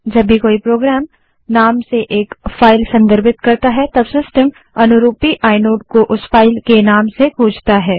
जब भी कोई प्रोग्रामनाम से एक फाइल संदर्भित करता है तब सिस्टम अनुरूपी आइनोड को उस फाइल के नाम से खोजता है